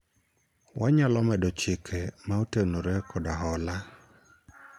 wanyalo medo chike ma otenore kod hola